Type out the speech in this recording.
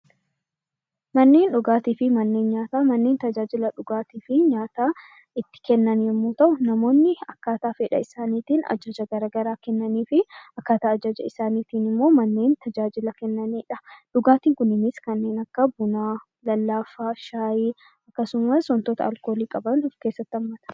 Manneen dhugaatii fi manneen nyaataa manneen tajaajila nyaataa fi dhugaatii itti kannaman yoo ta'u, namoonni Akka fedhaa isaaniin ajaja garaagaraa kennaniifii akkaataa ajaja isaaniitiin manneen tajaajila kennanidha. Dhugaatiiwwan kunneenis kan akka bu'aa, lallaafaa, shaayii akkasumas wantoota alkoolii qaban of keessatti qabata